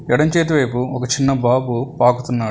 ఎడమ చేతి వైపు ఒక చిన్న బాబు పాకుతున్నాడు.